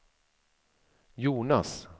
Jonas